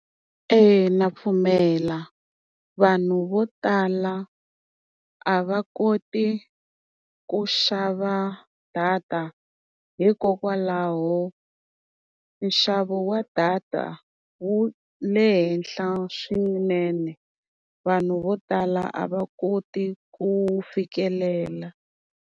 Eya na pfumela. Vanhu vo tala a va koti ku xava data, hikokwalaho nxavo wa data wu le henhla swinene. Vanhu vo tala a va koti ku fikelela.